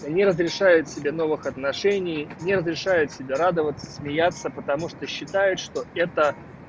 не разрешает себе новых отношений не разрешает себя радоваться смеяться потому что считает что это